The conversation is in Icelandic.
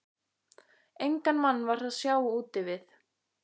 Engan mann var að sjá úti við.